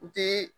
U tɛ